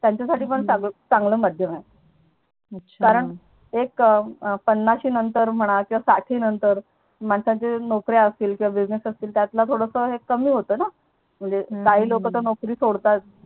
त्यांच्या साठी पण चांगलं माध्यम आहे पन्नाशी नंतर म्हणा किंवा साठी नंतर माणसांचे नोकऱ्या असतील Business असतील त्यातलं हे कमी होत ना काही लोक नोकरी सोडतात त्यांच्या साठी पण चांगलं माध्यम आहे